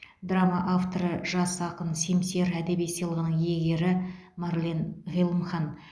драма авторы жас ақын семсер әдеби сыйлығының иегері марлен ғилымхан